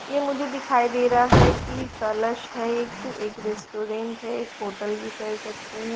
ये मुझे दिखाई दे रहा है की कलश है एक एक रेस्टोरेंट है एक होटल भी कह सकते हैं।